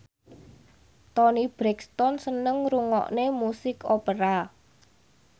Toni Brexton seneng ngrungokne musik opera